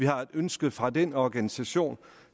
har et ønske fra den organisation